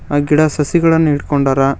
ಅ ಗಿಡ ಸಸಿಗಳನ್ನು ಹಿಡ್ ಕೊಂಡಾರ.